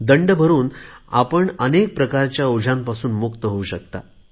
दंड भरुन आपण अनेक प्रकारच्या ओझ्यांपासून मुक्त होऊ शकता